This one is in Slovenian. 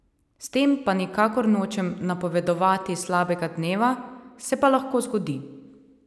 S tem pa nikakor nočem napovedovati slabega dneva, se pa lahko zgodi.